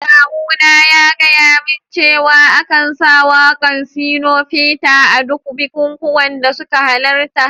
Kawuna ya gaya min cewa a kan sa waka'n Shino Peter a duk bikukuwanda suka halatta.